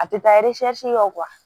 A tɛ taa kɔ